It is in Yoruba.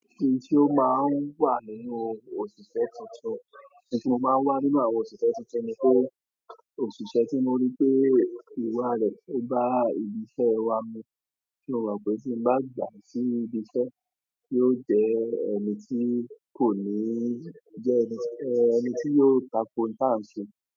Ohun tí ó máa ń wà nínú òṣìṣẹ́ tuntun, ohun tí ó máa ń wà nínú àwọn òṣìṣẹ́ tuntun ni pé òṣìṣẹ́ tí mo rí pé ìwà rẹ̀ tó bá ibi iṣẹ́ wa mu, tí mo rò pé tí ń bá gbà sí ibi iṣẹ́, yóò jẹ́ ẹniti kò níìì, jẹ́ ẹni tí, ẹ́ ẹni tí yóò tako nta n ṣe.